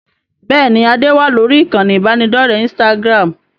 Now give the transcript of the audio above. Bẹ́ẹ̀ni, ade wá lórí ìkànnì ibanidọ̀rẹ́ Instagram.